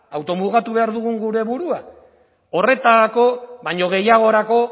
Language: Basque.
automugatu behar dugun gure burua horretarako baino gehiagorako